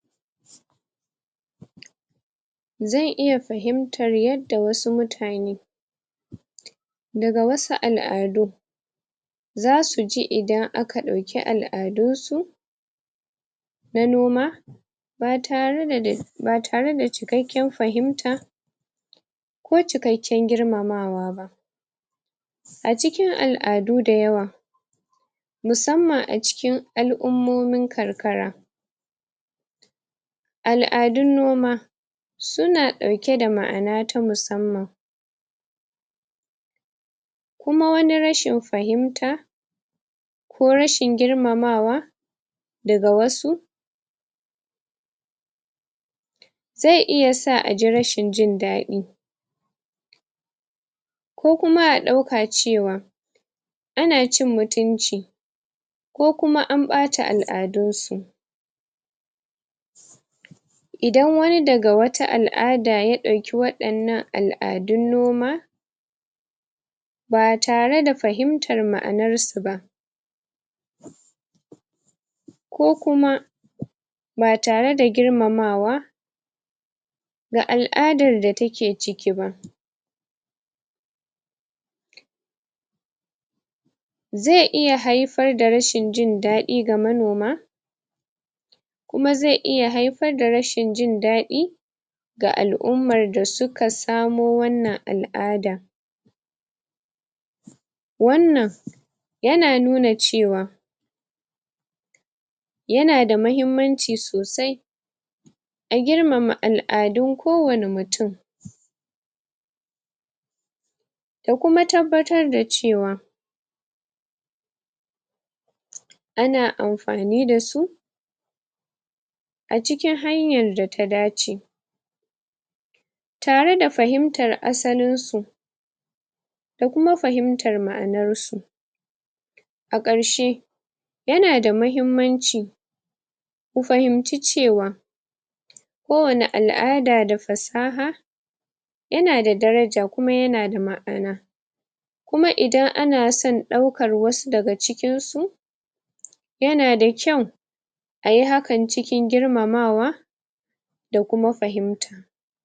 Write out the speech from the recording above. Zan iya fahimtar yadda wasu mutane daga wasu al'adu zasu ji idan aka ɗauki al'adun su na noma ba tare da ba tare da cikakken fahimta ko cikakken girmamawa ba acikin al'adu da yawa musamman acikin al'ummomin karkara al'adun noma suna ɗauke da ma'ana ta musamman kuma wani rashin fahimta ko rashin girmamawa daga wasu zai iya sa aji rashin jin daɗi ko kuma a ɗauka cewa ana cin mutunci ko kuma an ɓata al'adun su idan wani daga wata al'ada ya ɗauki waɗannan al'adun noma ba tare da fahimtar ma'anarsu ba ko kuma ba tare da girmamawa ga al'adar da take ci ki ba zai iya haifar da rashin jin daɗi ga manoma kuma zai iya haifar da rashin jin daɗi ga al'ummar da suka samo wannan al'ada wannan yana nuna cewa yanada mahimmanci sosai a girmama al'adun ko wane mutum da kuma tabbatar da cewa ana amfani dasu a cikin hanyar data dace tare da fahimtar asalin su da kuma fahimtar ma'anar su a ƙarshe yanada mahimmanci ku fahimci cewa ko wane al'ada da fasaha yanada daraja kuma yana da ma'ana kuma idan ana son ɗaukar wasu daga cikin su yana da kyau ayi hakan cikin girmamawa da kuma fahimta